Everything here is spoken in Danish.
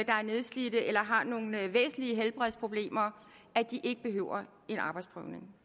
er nedslidte eller har nogle væsentlige helbredsproblemer at de ikke behøver en arbejdsprøvning